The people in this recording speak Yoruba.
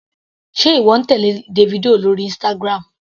Sé ìwọ ń tèlé Davido lórí Instagram.